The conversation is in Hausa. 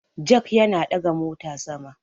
Jak Yana ɗaga mota sama